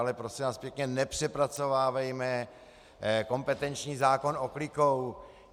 Ale prosím vás pěkně, nepřepracovávejme kompetenční zákon oklikou.